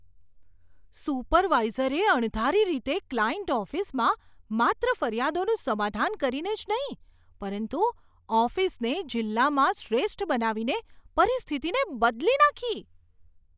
સુપરવાઇઝરે અણધારી રીતે ક્લાયન્ટ ઓફિસમાં માત્ર ફરિયાદોનું સમાધાન કરીને જ નહીં પરંતુ ઓફિસને જિલ્લામાં શ્રેષ્ઠ બનાવીને પરિસ્થિતિને બદલી નાંખી.